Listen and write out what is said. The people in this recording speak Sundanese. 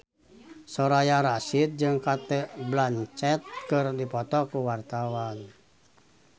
Soraya Rasyid jeung Cate Blanchett keur dipoto ku wartawan